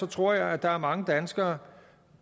tror jeg der er mange danskere